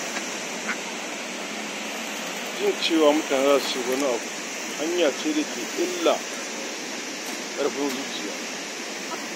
Jin cewa mutane za su ce wani abu hanya ce da ke illa ga ƙarfin zuciya.